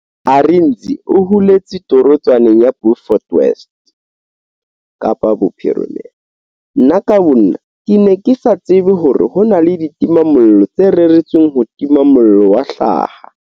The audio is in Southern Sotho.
Arendse o holetse torotswaneng ya Beaufort West Kapa Bophirimela. Nna ka bonna, ke ne ke sa tsebe hore ho na le ditimamollo tse reretsweng ho tima mollo wa hlaha.